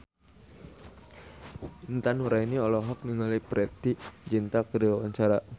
Intan Nuraini olohok ningali Preity Zinta keur diwawancara